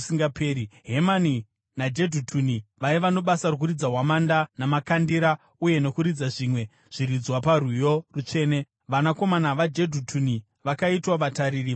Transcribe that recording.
Hemani naJedhutuni vaiva nebasa rokuridza hwamanda namakandira uye nokuridza zvimwe zviridzwa parwiyo rutsvene. Vanakomana vaJedhutuni vakaitwa vatariri vamasuo.